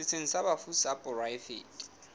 setsheng sa bafu sa poraefete